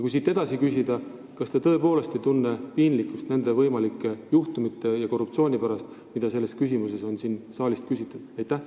Siit saab edasi küsida: kas te tõepoolest ei tunne piinlikkust nende võimalike juhtumite ja korruptsiooni pärast, mida selles küsimuses on siin saalis mainitud?